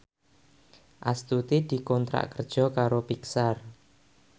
Astuti dikontrak kerja karo Pixar